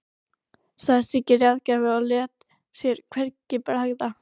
sagði Siggi ráðgjafi og lét sér hvergi bregða.